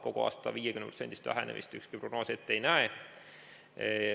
Kogu aasta 50%-list vähenemist ükski prognoos ette ei näe.